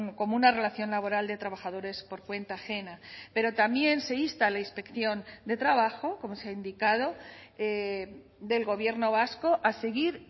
como una relación laboral de trabajadores por cuenta ajena pero también se insta a la inspección de trabajo como se ha indicado del gobierno vasco a seguir